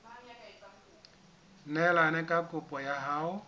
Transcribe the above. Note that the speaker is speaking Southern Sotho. neelane ka kopo ya hao